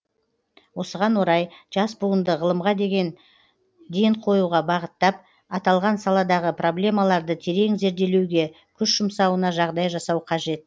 осыған орай жас буынды ғылымға ден қоюға бағыттап аталған саладағы проблемаларды терең зерделеуге күш жұмсауына жағдай жасау қажет